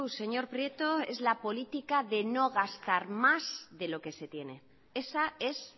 señor prieto es la política de no gastar más de lo que se tiene esa es